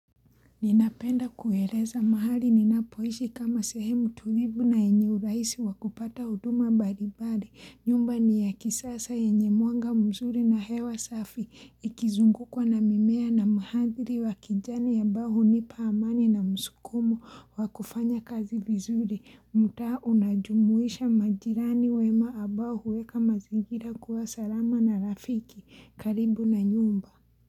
Ninapenda kueleza mahali ninapoishi kama sehemu tulivu na yenye urahisi wakupata huduma mbalibari, nyumba ni ya kisasa enye mwanga mzuri na hewa safi, ikizungukwa na mimea na mandhari wa kijani ambayo hunipa amani na msukumo wakufanya kazi vizuri, mtaa unajumuisha majirani wema ambao huweka mazigira kuwa salama na rafiki, karibu na nyumba.